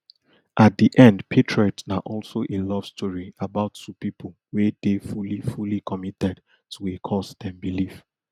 at di end patriot na also a love story about two pipo wey dey fully fully committed to a cause dem believe